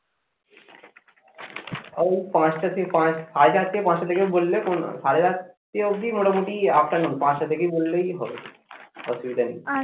ও পাঁচটা থেকে সাড়ে চারটে পাঁচটা থেকে বললে সাড়ে চারটে অবধি মোটামুটি afternoon পাঁচটা থেকে বললেই হবে অসুবিধে নেই।